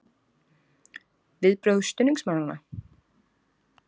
Viðbrögð stuðningsmanna?